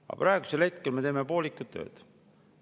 Aga praegu me teeme ikka poolikut tööd.